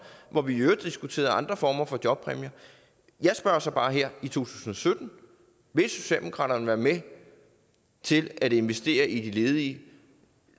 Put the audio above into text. hvor vi i øvrigt diskuterede andre former for jobpræmie jeg spørger så bare her i 2017 vil socialdemokratiet være med til at investere i de ledige